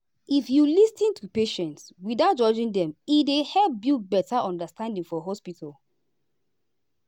if you lis ten to patient without judging dem e dey help build better understanding for hospital.